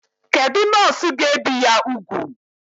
Kedụ nọọsụ ga ebi ya úgwù?